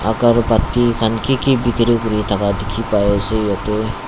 agarobatti khan ki ki bikiri kuri thaka dikhi pai ase yete.